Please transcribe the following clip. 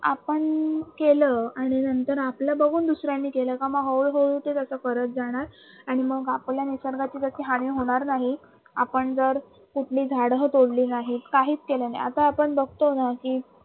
आपण केलं आणि नंतर आपल बघून दुसर्यांनी केलं का मग हळू हळू ते लोक करत जाणार आणि मग आपल्या निसर्गाची जशी हानी होणार नाही आपण जर कुठली झाडं तोडली नाहीत काहीच केलं नाही आता आपण बघतो नं कि